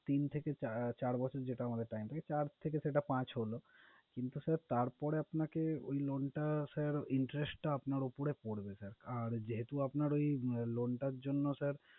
তিন থেকে চা~ চার বছর যেটা আমাদের time থাকে, চার থেকে সেটা পাঁচ হলো। কিন্তু sir তারপরে আপনাকে ঐ loan টা sir interest টা আপনার উপরে পড়বে sir । আর যেহেতু আপনার ঐ loan টার জন্য sir